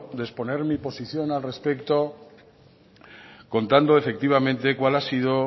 de exponer mi posición al respecto contando efectivamente cuál ha sido